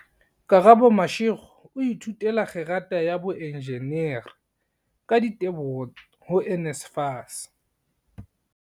Karabo Mashego o ithutela kgerata ya boenjinere, ka diteboho ho NSFAS.